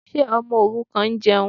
Ṣé ọmọ òrukàn ń jẹun?